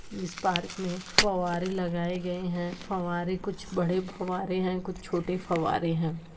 इस पार्क में फव्वारें लगाए गए हैं फव्वारें कुछ बड़े फव्वारें है कुछ छोटे फव्वारें हैं।